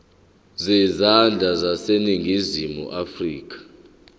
zezandla zaseningizimu afrika